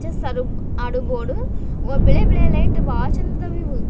Chess ಆರೊಮ್ ಆಡೋ board ಒ ಬಿಳೇಬಿಳೇ ಐತ್ ಬಾಳ್ ಚಂದ್ದವ್ ಇವು.